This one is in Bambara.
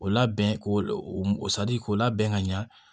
O labɛn k'o m sadi k'o labɛn ka ɲa